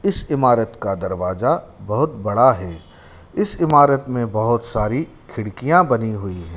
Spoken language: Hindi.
इस इमारत का दरवाजा बहुत बड़ा है इस इमारत में बहुत सारी खिड़कियां बनी हुई हैं।